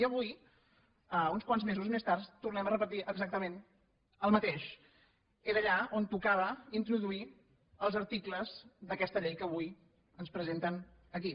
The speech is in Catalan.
i avui uns quants mesos més tard tornem a repetir exactament el mateix era allà on tocava introduir els articles d’aquesta llei que avui ens presenten aquí